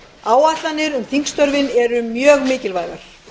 áætlanir um þingstörfin eru mjög mikilvægar